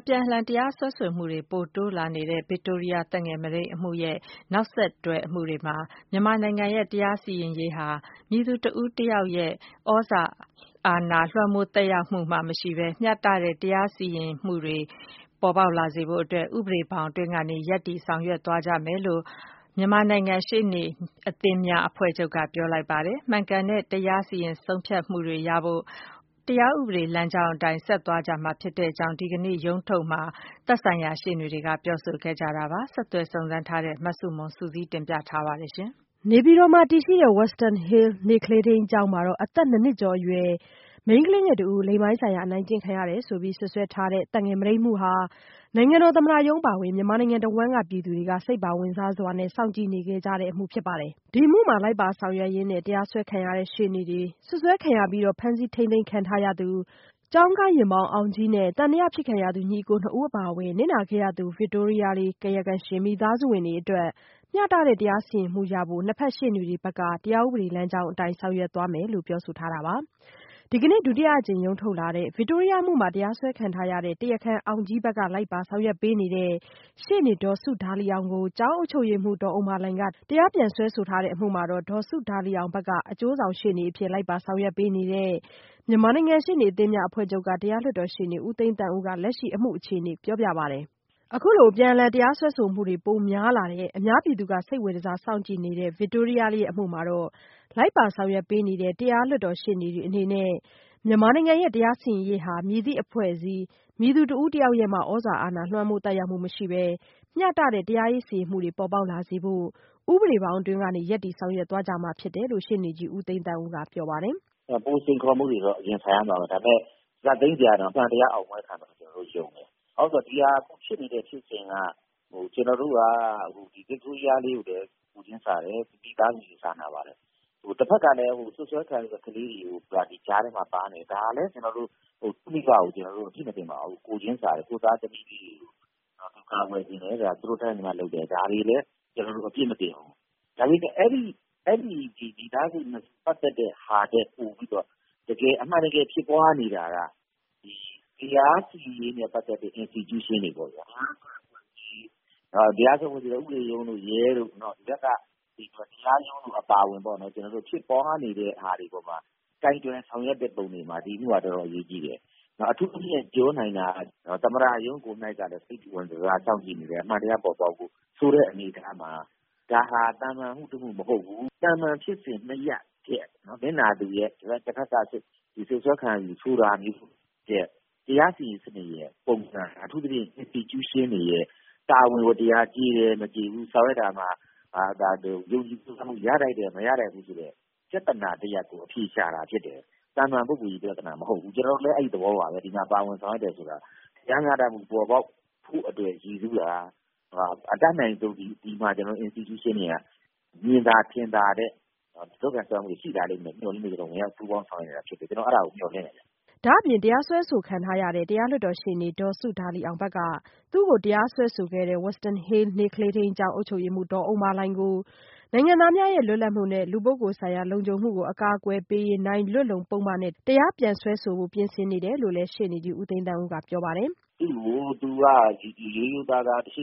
ြန်အလှန်တရားစွဲဆိုမှုတွေ ပိုတိုးလာတဲ့ ဗစ်တိုးရီးယားသက်ငယ်မုဒိမ်းအမှုရဲ့ နောက်ဆက်တွဲ အမှုတွေမှာ မြန်မာနိုင်ငံရဲ့ တရားစီရင်ရေးဟာ မည်သူ တဦးတယောက်ရဲ့မှ သြဇာအာဏာ လွှမ်းမိုးသက်ရောက်မှုမရှိပဲ မျှတတဲ့ တရားရေးစီရင်မှုတွေ ပေါ်ပေါက်လာစေဖို့ ဥပဒေဘောင်အတွင်းကနေ ရပ်တည်ဆောင်ရွက်သွားကြမှာဖြစ်တယ်လို့ မြန်မာနိုင်ငံ ရှေ့နေအသင်းများအဖွဲ့ချုပ်က ပြောဆိုလိုက်ပါတယ်။ မှန်ကန်တဲ့ တရားစီရင် ဆုံးဖြတ်မှု တွေရဖို့ တရားဥပဒေလမ်းကြောင်းအတိုင်း ဆက်သွားကြမှာလို့ ဒီကနေ့ ရုံးထုတ်မှာ သက်ဆိုင်ရာရှေ့နေတွေကပြောဆိုခဲ့တာပါ။ ဆက်သွယ်စုံစမ်းထားတဲ့ မဆုမွန် စုစည်း တင်ပြထားပါတယ်။ နေပြည်တော်မှာတည်ရှိတဲ့ Wisdom Hill နေ့ကလေးထိန်းကျောင်းမှာ အသက် ၂ နှစ်ကျော်အရွယ် မိန်းကလေးငယ်လေး လိင်ပိုင်းဆိုင်ရာ အနိုင်ကျင့်ခံရတယ်ဆိုပြီး စွပ်စွဲထားတဲ့ သက်ငယ်မုဒိမ်းအမှုဟာ နိုင်ငံတော်သမ္မတရုံးအပါအဝင် မြန်မာပြည်တဝှမ်းကပြည်သူတွေ စိတ်ပါဝင်စားစွာနဲ့ စောင့်ကြည့်နေခဲ့ကြတဲ့ အမှုဖြစ်ပါတယ်။ အမှုမှာလိုက်ပါဆောင်ရွက်ရင်း တရားစွဲခံရတဲ့ရှေ့နေတွေ၊ စွပ်စွဲခံရပြီး ဖမ်းဆီးထိန်းသိမ်းခံထားသူ ကျောင်းကားယာဉ်မောင်းအောင်ကြီးနဲ့ သံသယဖြစ်ခံရသူညီအကိုနှစ်ဦးအပါအဝင် နစ်နာခဲ့ရသူ ဗစ်တိုးရီးယား ကာယကံရှင် မိသားစုဝင်တွေအတွက် မျှတတဲ့တရားစီရင်မှုရဖို့ နှစ်ဘက် ရှေ့နေတွေဘက်ကလည်း တရားဥပဒေလမ်းကြောင်းအတိုင်း ဆောင်ရွက်သွားကြမယ်လို့ပြောဆိုထားတာပါ။ ဒီကနေ့ ဒုတိယအကြိမ် ရုံးထုတ်လာတဲ့ ဗစ်တိုးရီးယားအမှုမှာ တရားစွဲဆိုခံရတဲ့ တရားခံအောင်ကြီးဘက်က လိုက်ပါဆောင်ရွက်ပေးနေတဲ့ ရှေ့နေဒေါ်စုဒါလီအောင်ကို ကျောင်းအုပ်ချုပ်ရေးမှူးက တရားပြန်စွဲထားတဲ့အမှုမှာ ဒေါ်စုဒါလီအောင်ဘက်က အကျိုးဆောင်ရှေ့နေအဖြစ် လိုက်ပါဆောင်ရွက်ပေးနေတဲ့ မြန်မာနိုင်ငံရှေ့နေအသင်းများအဖွဲ့ချုပ်က တရားလွှတ်တော်ရှေ့နေဦးသိန်းသန်းဦးက လက်ရှိအမှုအခြေအနေ အခုလိုပြောပြပါတယ်။ အခုလိုအပြန်အလှန ်တရားစွဲဆိုမှုတွေ ပိုများလာတဲ့ အများပြည်သူက စိတ်ဝင်တစားစောင့်ကြည့်နေတဲ့ ဗစ်တိုးရီးယားလေးအမှုမှာ လိုက်ပါ ဆောင်ရွက်ပေးနေတဲ့ တရားလွှတ်တော်ရှေ့နေတွေ အနေနဲ့ မြန်မာနိုင်ငံရဲ့ တရားစီရင်ရေးဟာ မည်သည့်အဖွဲ့အစည်း မည်သူ တဦးတယောက်ရဲ့မှ သြဇာအာဏာ လွှမ်းမိုးသက်ရောက်မှုမရှိပဲ မျှတတဲ့ တရားရေးစီရင်မှုတွေ ပေါ်ပေါက်လာစေဖို့ ဥပဒေဘောင်အတွင်းကနေ ရပ်တည်ဆောင်ရွက်သွားကြမှာဖြစ်တယ်လို့ ရှေ့နေကြီးဦးသိန်းသန်းဦးက ပြောပါတယ်။ “ ပိုစိန်ခေါ်မှုတွေတော့ရင်ဆိုင်ရမှာပါ ဒါပေမယ့် ဇာတ်သိမ်းကတော့ အမှန်တရားအောင်ပွဲခံမယ်လို့ ကျနော်တို့ ယုံကြည်ပါတယ်။ ဘာဖြစ်လို့လဲဆိုတော့ ဒါဖြစ်နေတဲ့ ဖြစ်စဉ်က ကျနော်တို့က ဗစ်တိုးရီးယားလေးကိုလည်း ကိုယ်ချင်းစာတယ်။ မိသားစုကိုလည်း စာနာပါတယ်။ တဖက်ကလည်း စွပ်စွဲခံရတဲ့ ကလေးတွေက ကြားထဲမှာပါနေတယ် ဒါကလည်း ကျနော်တို့ သူ့မိဘကို အပြစ်မတင်ပါဘူး။ ကိုယ်ချင်းစာတယ် ကိုယ့်သားသမီးတွေကို ကာကွယ်ချင်တယ်။ သူတို့ တတ်နိုင်သမျှလုပ်တယ် ဒါကိုလည်း အပြစ်မတင်ဘူး။ အဲဒီ မိသားစု ၂ ခုထက်ပိုပြီးတော့ အမှန်တကယ် ဖြစ်ပွားနေတာက တရားစီရင်ရေးနဲ့ပတ်သက်တဲ့ institution တွေပေါ့ဗျာ ၊ တရားစီရင်မှု ၊ ဥပဒေရုံးတို့ ရဲတို့ ဒီဘက်က တရားရုံးတွေအပါအဝင်ပေါ့ဗျာ ကျနော်တို့ ဖြစ်ပွားနေတဲ့ပုံမှာ ကိုင်တွယ်ဆောင်ရွက်တဲ့အပေါ်မှာ ဒါက တော်တော်အရေးကြီးတယ် အထူးသဖြင့် သမ္မတရုံးကလည်း စိတ်ဝင်တစားစောင့်ကြည့်နေတယ်၊ အမှန်တရားပေါ်ပေါက်ဖို့ ဆိုတဲ့အနေအထားမှာ ဒါဟာ သာမန်အမှုမဟုတ်ဘူး။ သာမန်ဖြစ်စဉ် ၂ ရပ်ထက် နစ်နာသူရဲ့ တဖက်က စွပ်စွဲခံရတာဆိုတာမျိုးထက် တရားစီရင်ရေး ပုံစံ အထူးသဖြင့် Institution တွေရဲ့ တာဝန်ဝတ္တရား ကျေတယ် ၊ မကျေဘူး ဆောင်ရွက်တာမှာ ယုံကြည်မှု ရတယ် မရဘူး ဆိုတဲ့ ပြဿနာ တရပ်ကို အဖြေရှာတာဖြစ်တယ်။ သာမန်ပုဂ္ဂိုလ်ရေးပြဿနာမဟုတ်ဘူး ကျနော်တို့လည်း အဲဒီသဘောပါပဲ။ ဒီမှာ ပါဝင်ဆောင်ရွက်တယ်ဆိုတာက တရားမျှတမှု ပေါ်ပေါက်ဖို့အတွက် ရည်စူးတာ အတတ်နိုင်ဆုံး ဒီမှာ Institution တွေ မြင်သာထင်သာတဲ့ လုပ်ကိုင်စွမ်းရည်တွေ ရှိလာမယ်လို့ မျှော်လင့်လို့ ပူးပေါင်းဆောင်ရွက်တာဖြစ်ပါတယ်။ ကျနော်အဲဒါကို မျှော်လင့်တယ်ခင်ဗျ။” ဒါ့အပြင် တရားစွဲခံရတဲ့ တရားလွှတ်တော်ရှေ့နေဒေါ်စုဒါလီအောင်ဘက် သူ့ကိုတရားစွဲဆိုခဲ့တဲ့ Wisdom Hill နေ့ကလေးထိန်းကျောင်းအုပ်ချုပ်ရေးမှူး ဒေါ်ဥမ္မာလှိုင်ကို နိုင်ငံသားများရဲ့ လွတ်လပ်မှုနဲ့ လူပုဂ္ဂိုလ်ဆိုင်ရာလုံခြုံမှုကို အကာအကွယ်ပေးရေးနိုင်လွတ်လုံပုဒ်မနဲ့ တရားပြန်စွဲဆိုဖို့ ပြင်ဆင်နေတယ်လို့လည်း ဦးသိန်းသန်းဦးကပြောပါတယ်။ ရိုးရိုးသားသားရှ